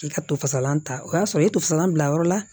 K'i ka to fasalan ta o y'a sɔrɔ i ye tosalan bila yɔrɔ la